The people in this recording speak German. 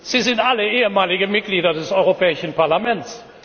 Sie sind alle ehemalige Mitglieder des Europäischen Parlaments!